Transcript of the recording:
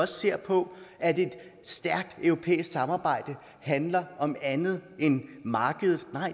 ser på at et stærkt europæisk samarbejde handler om andet end markedet